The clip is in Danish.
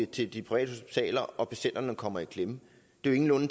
til de private hospitaler og at patienterne kommer i klemme er jo